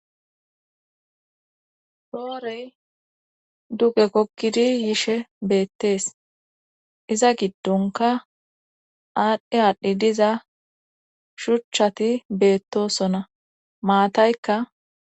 Roorey duge kokkidi yishe beettees iza giddonka aadhdhi aadhdhi diza shuchchati beettosona maataykka.